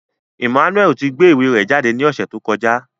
Emmanuel ti gbe iwe rẹ jade ni ọsẹ to kọja